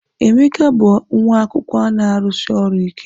Emeka bụ nwa akwụkwọ na-arụsi ọrụ ike.